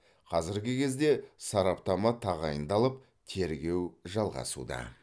қазіргі кезде сараптама тағайындалып тергеу жалғасуда